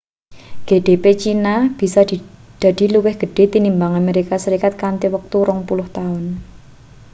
gdp china bisa dadi luwih gedhe tinimbang amerika serikat kanthi wektu rong puluh taun